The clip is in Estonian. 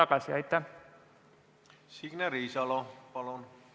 Signe Riisalo, palun!